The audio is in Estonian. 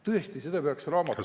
Tõesti, seda peaks raamatus …